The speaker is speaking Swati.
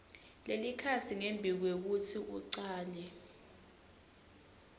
lelikhasi ngembikwekutsi ucale